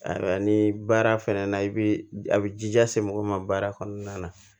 Ayiwa ni baara fɛnɛ na i bi a bi jija se mɔgɔ ma baara kɔnɔna na